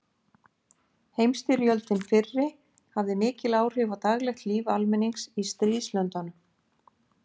Heimsstyrjöldin fyrri hafði mikil áhrif á daglegt líf almennings í stríðslöndunum.